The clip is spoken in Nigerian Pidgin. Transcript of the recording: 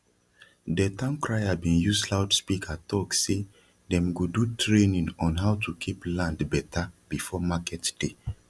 de town crier bin use loudspeaker talk say dem go do training on how to keep land beta before market day